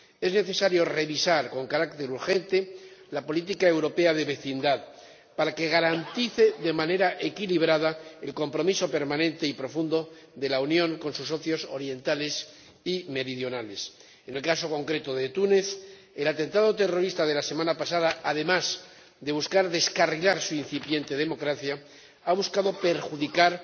Es necesario revisar con carácter urgente la Política Europea de Vecindad para que garantice de manera equilibrada el compromiso permanente y profundo de la Unión con sus socios orientales y meridionales. En el caso concreto de Túnez, el atentado terrorista de la semana pasada, además de buscar descarrilar su incipiente democracia, ha buscado perjudicar